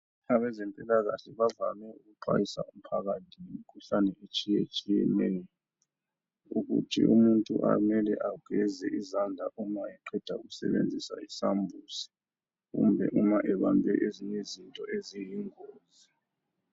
Abazempilakahle bavame ukuxwayisa umphakathi ngemikhuhlane etshiyetshiyeneyo ukuthi umuntu ageze izandla uma eqeda ukusebenzisa isambuzi kumbe uma ebambe ezinye izinto eziyingozi.